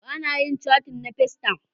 Bana yin catin na festayam